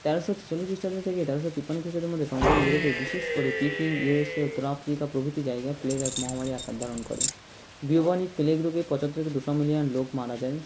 তেরশ ছেচল্লিশ খৃষ্টাব্দ থেকে তেরশ তিপ্পান্ন খৃষ্টাব্দের মধ্যে সমগ্ৰ ইউরোপে বিশেষ করে পিকিং ইউরেশীয়া উত্তর আফ্রিকা প্রভৃতি জায়গায় plague এক মহামারী আকার ধারণ করে bubonic plague রোগে পঁচাত্তর থেকে দুশো million লোক মারা যায়